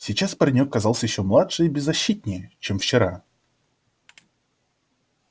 сейчас паренёк казался ещё младше и беззащитнее чем вчера